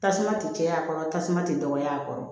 Tasuma tɛ caya a kɔrɔ tasuma tɛ dɔgɔya a kɔrɔ